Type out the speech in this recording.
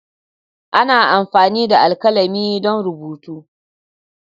Ana amfani da alkalami don rubutu.